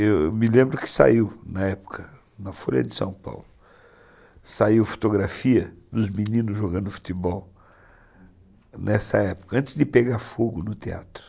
Eu me lembro que saiu na época, na Folha de São Paulo, saiu fotografia dos meninos jogando futebol nessa época, antes de pegar fogo no teatro.